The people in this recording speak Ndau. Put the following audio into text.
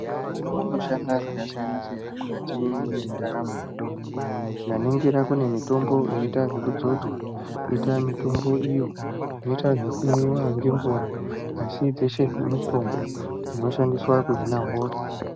Mitombo inoshanda zvakasiyana siyana mukati mwendaramo dzemuntu , tikaningira kune mitombo inoita zvekudzodzwa koita mitombo iyo inoita zvekumwiwa ngemvura asi dzeshe idzi mitombo dzinoshandiswa kuhina hosha.